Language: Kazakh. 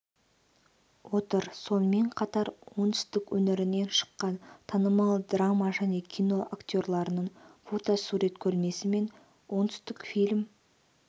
отыр сонымен қатар оңтүстік өңірінен шыққан танымал драма және кино актерлардыңфото-сурет көрмесі мен оңтүстік фильм